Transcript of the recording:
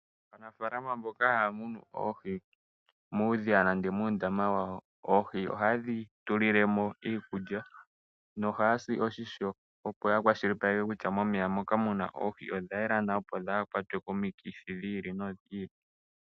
Aanafalama mboka haya munu oohi muudhiya nenge moondama dhawo, oohi ohaye dhi tulile mo iikulya, nohaya si oshisho opo yakwashilipaleke kutya momeya moka muna oohi odha yela nawa. Oohi opo dhaa kwatwe komikithi dhiili nodhiili.